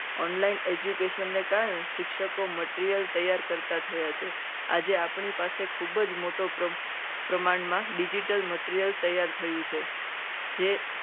Online education ને કારણે શિક્ષકો material તૈયાર કરતા થયા છે. આપ આજે આપણી પાસે ખૂબ જ મોટો પ્રમાણમાં digital material તૈયાર થયું છે. કે જે